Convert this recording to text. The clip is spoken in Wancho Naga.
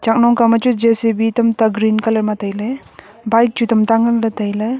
chaknong kao ma chu J_C_B tamta green color ma tailey bike chu tam ta ngan le tai le.